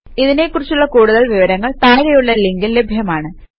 ഇതിനെ കുറിച്ചുള്ള കൂടുതൽ വിവരങ്ങൾ താഴെയുള്ള ലിങ്കിൽ ലഭ്യമാണ്